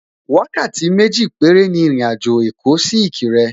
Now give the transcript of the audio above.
Wákàtí méjì péré ni àjò èkó sí Ìkirè